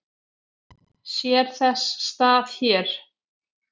Sér þess stað hér?